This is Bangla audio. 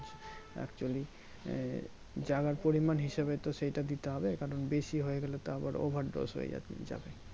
Actually আহ জাগার পরিমান হিসাবে তো সেটা দিতে হবে কারণ বেশি হয়ে গেলে তো আবার Overdose হয়ে যাবে